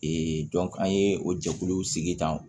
an ye o jɛkuluw sigi tan